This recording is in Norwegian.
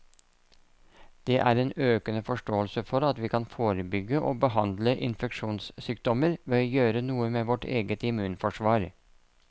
Det er en økende forståelse for at vi kan forebygge og behandle infeksjonssykdommer ved å gjøre noe med vårt eget immunforsvar.